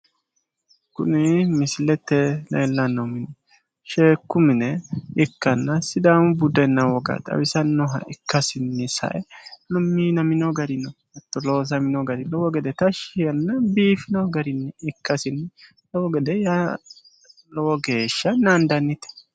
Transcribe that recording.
Kuni misilete leellanno sheekku mine ikkanna sidaamu budenna woga xawisannoha ikkasinni sae minamino garino hatto loosamino gari lowo gede tashshi yaanno. Biifino garinni ikkasinni lowo geeshsha naandannite.